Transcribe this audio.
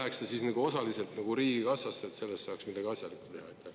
… vaid see läheks pigem osaliselt riigikassasse, et sellega saaks midagi asjalikku teha.